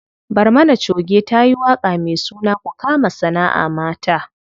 Barmana choge tayi waƙa me suna ku kama sanaʼa mata.